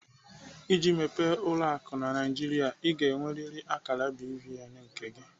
Iji mepee ụlọ akụ na Naijiria, Ị ga-enweriri akara BVN nke gị.